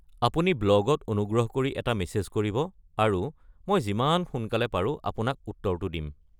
আপুনি ব্লগত অনুগ্ৰহ কৰি এটা মেছেজ কৰিব আৰু মই যিমান সোনকালে পাৰোঁ আপোনাক উত্তৰটো দিম।